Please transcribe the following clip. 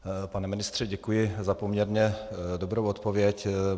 Pane ministře, děkuji za poměrně dobrou odpověď.